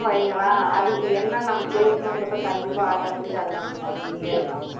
வையுங்களேன் அதுக்கு என்ன நம்ம பேசணும்ன்றதை கண்டிப்பா automatic ஆ அது நம்மளுக்கு வந்துக்கிட்டே இருக்கும்